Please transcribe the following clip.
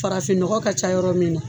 Farafin nɔgɔ ka ca yɔrɔ min na.